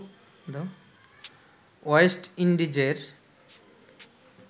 West ইন্ডিজের